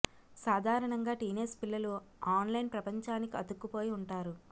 సాదరణంగా teenage పిల్లలు online ప్రపంచానికి అతుక్కుపోయి ఉంటారు